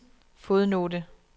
fodnote